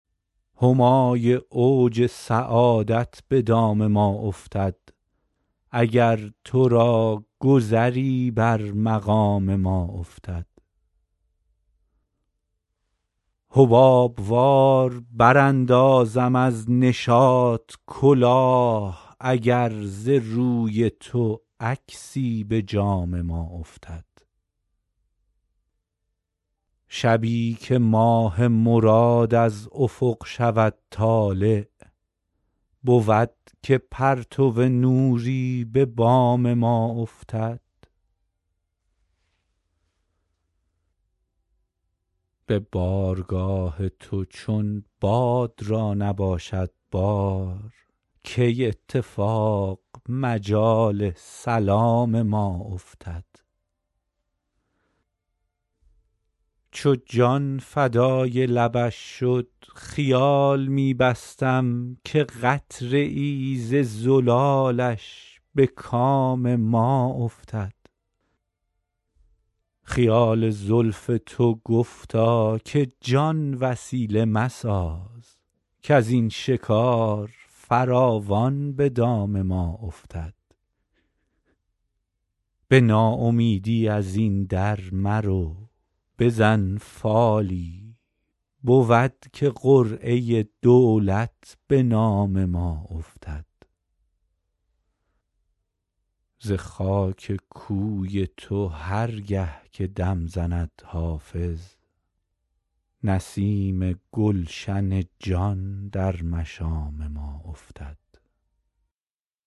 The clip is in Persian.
همای اوج سعادت به دام ما افتد اگر تو را گذری بر مقام ما افتد حباب وار براندازم از نشاط کلاه اگر ز روی تو عکسی به جام ما افتد شبی که ماه مراد از افق شود طالع بود که پرتو نوری به بام ما افتد به بارگاه تو چون باد را نباشد بار کی اتفاق مجال سلام ما افتد چو جان فدای لبش شد خیال می بستم که قطره ای ز زلالش به کام ما افتد خیال زلف تو گفتا که جان وسیله مساز کز این شکار فراوان به دام ما افتد به ناامیدی از این در مرو بزن فالی بود که قرعه دولت به نام ما افتد ز خاک کوی تو هر گه که دم زند حافظ نسیم گلشن جان در مشام ما افتد